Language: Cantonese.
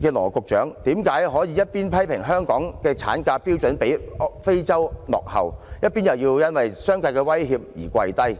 的羅局長，為何可以一邊批評香港的產假標準比非洲落後，一邊卻又因為商界的威脅而屈服。